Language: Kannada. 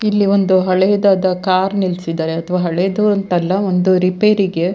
ಇಲ್ಲಿ ಒಂದು ಹಳೆಯದಾದ ಕಾರ್ ನಿಲ್ಸಿದ್ದರೆ ಅದು ಹಳೇದು ಅಂತ ಅಲ್ಲ ಒಂದು ರಿಪೇರಿಗೆ --